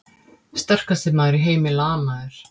Sterkasti maður í heimi lamaður!